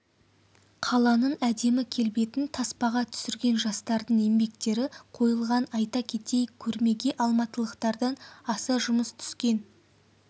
қаланың әдемі келбетін таспаға түсірген жастардың еңбектері қойылған айта кетейік көрмеге алматылықтардан аса жұмыс түскен